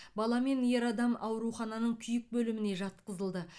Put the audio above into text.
бала мен ер адам аурухананың күйік бөліміне жатқызылды